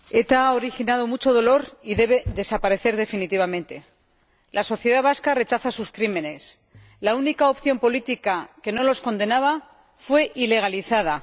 Señor Presidente, ETA ha originado mucho dolor y debe desaparecer definitivamente. La sociedad vasca rechaza sus crímenes. La única opción política que no los condenaba fue ilegalizada.